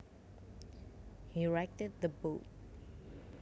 He righted the boat